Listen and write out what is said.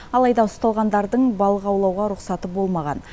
алайда ұсталғандардың балық аулауға рұқсаты болмаған